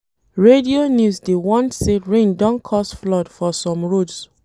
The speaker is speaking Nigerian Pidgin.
Radio news dey warn say rain don cause flood for some roads.